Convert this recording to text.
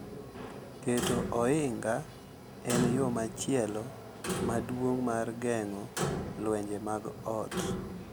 Keto ohinga en yo machielo maduong’ mar geng’o lwenje mag ot.